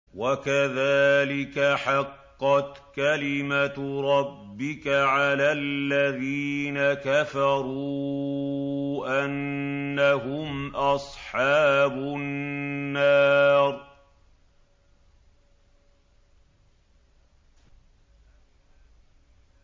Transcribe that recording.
وَكَذَٰلِكَ حَقَّتْ كَلِمَتُ رَبِّكَ عَلَى الَّذِينَ كَفَرُوا أَنَّهُمْ أَصْحَابُ النَّارِ